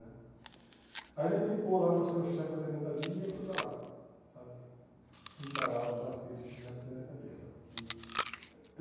Aí Ele me indicou lá para ser o chefe da Fermentaria e eu fui para lá, sabe, encarar o desafio de ser chefe da Fermentaria, sabe, que.